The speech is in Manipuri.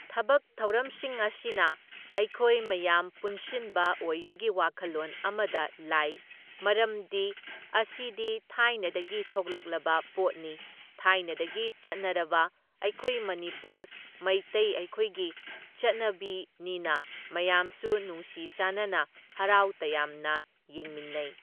ꯊꯕꯛ ꯊꯧꯔꯝꯁꯤꯡ ꯑꯁꯤꯅ ꯑꯩꯈꯣꯏ ꯃꯌꯥꯝ ꯄꯨꯟꯁꯤꯟꯕ ꯑꯣꯏꯕꯒꯤ ꯋꯥꯈꯜꯂꯣꯟ ꯑꯃꯗ ꯂꯥꯏ, ꯃꯔꯝꯗꯤ ꯑꯁꯤꯗꯤ ꯊꯥꯏꯅꯗꯒꯤ ꯊꯣꯛꯂꯛꯂꯕ ꯄꯣꯠꯅꯤ ꯊꯥꯏꯅꯗꯒꯤ ꯆꯠꯅꯔꯕ ꯑꯩꯈꯣꯏ ꯃꯅꯤꯄꯨꯔ ꯃꯩꯇꯩ ꯑꯩꯈꯣꯏꯒꯤ ꯆꯠꯅꯕꯤꯅꯤꯅ ꯃꯌꯥꯝꯁꯨ ꯅꯨꯡꯁꯤ ꯆꯥꯅꯅ ꯍꯔꯥꯎ ꯇꯌꯥꯝꯅ ꯌꯦꯡꯃꯤꯟꯅꯩ꯫